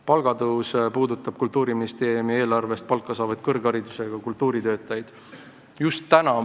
Palgatõus puudutab Kultuuriministeeriumi eelarvest palka saavaid kõrgharidusega kultuuritöötajaid.